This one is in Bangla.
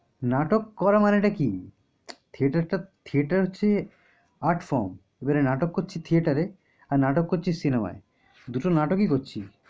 নাটক করা মানেটা কি? theater টা theater হচ্ছে platform । যারা নাটক করছি theater এ আর নাটক করছি cinema য়। দুটো নাটকই করছি।